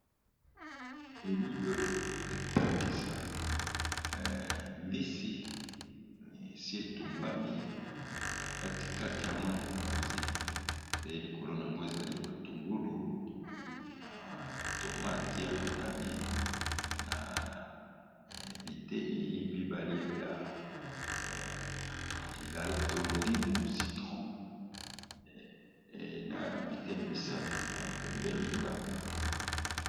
Elili oyo eza kolakisa mbisi batumbi yango likolo nango koza matungulu na tomate ya motane na biteni mibale ya citrons.